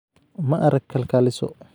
ma arag kalkaaliso